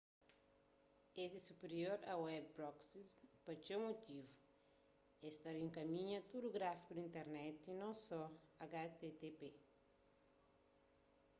es é supirior a web proxies pa txeu mutivu es ta rienkaminha tudu tráfigu di internet non só http